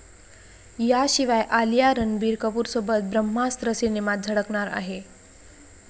याशिवाय आलिया रणबीर कपूरसोबत 'ब्रह्मास्त्र' सिनेमात झळकणार आहे.